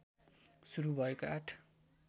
सुरू भएको आठ